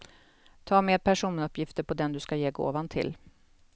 Ta med personuppgifter på den du ska ge gåvan till.